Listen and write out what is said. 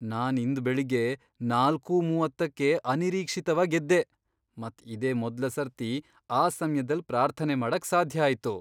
ನಾನ್ ಇಂದ್ ಬೆಳಿಗ್ಗೆ ನಾಲ್ಕೂ ಮೂವತ್ತಕ್ಕೆ ಅನಿರೀಕ್ಷಿತವಾಗ್ ಎದ್ದೆ ಮತ್ ಇದೆ ಮೊದ್ಲ ಸರ್ತಿ ಆ ಸಮ್ಯದಲ್ ಪ್ರಾರ್ಥನೆ ಮಾಡಕ್ ಸಾಧ್ಯ ಆಯ್ತು.